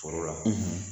Foro la